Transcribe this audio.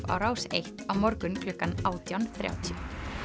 á Rás eins á morgun klukkan átján þrjátíu